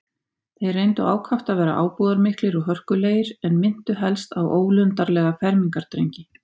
Þeir reyndu ákaft að vera ábúðarmiklir og hörkulegir, en minntu helst á ólundarlega fermingardrengi.